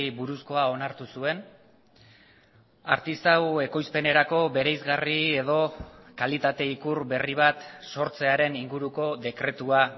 buruzkoa onartu zuen artisau ekoizpenerako bereizgarri edo kalitate ikur berri bat sortzearen inguruko dekretua